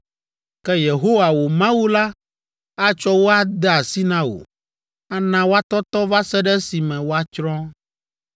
Ke Yehowa, wò Mawu la atsɔ wo ade asi na wò, ana woatɔtɔ va se ɖe esime woatsrɔ̃.